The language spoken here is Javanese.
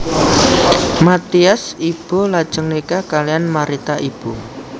Mathias Ibo lajeng nikah kaliyan Marita Ibo